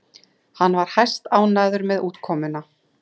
Hún var hæstánægð með útkomuna